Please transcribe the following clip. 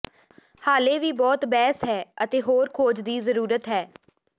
ਹਾਲੇ ਵੀ ਬਹੁਤ ਬਹਿਸ ਹੈ ਅਤੇ ਹੋਰ ਖੋਜ ਦੀ ਜ਼ਰੂਰਤ ਹੈ